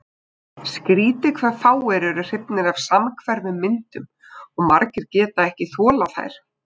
Skrýtið hve fáir eru hrifnir af samhverfum myndum og margir geta ekki þolað þær.